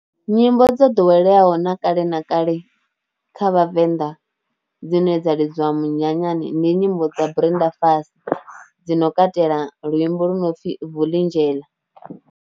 Nyimbo dzo ḓoweleaho na kale na kale kha vhavenḓa dzine dza lidziwa munyanyani ndi nyimbo dza Brenda Fassie dzi no katela luimbo lu no pfhi vuli indlela.